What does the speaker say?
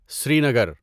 Srinagar